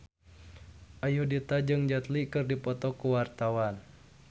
Ayudhita jeung Jet Li keur dipoto ku wartawan